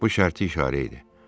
Bu şərti işarə idi.